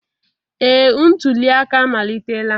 Ee, ntuli aka amalitela